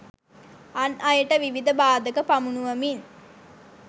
අන් අයට විවිධ බාධක පමුණුවමින්